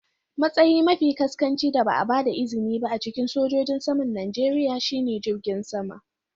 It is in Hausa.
Matsayi mafi ƙasƙanci da ba a ba da izini ba a cikin sojojin saman Najeriya shine jirgin sama.